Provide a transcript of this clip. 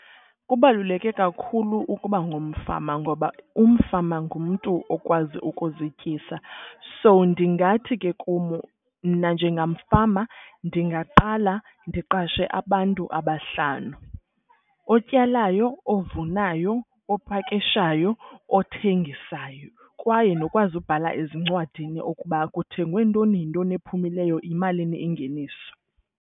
Kubaluleke kakhulu ukuba ngumfama ngoba umfama ngumntu okwazi ukuzityisa. So ndingathi ke kum mna njengamfama ndingaqala ndiqashe abantu abahlanu. Otyalayo, ovunayo, opakishayo, othengisayo kwaye nokwazi ubhala ezincwadini ukuba kuthengwe ntoni yintoni ephumileyo, yimalini ingeniso.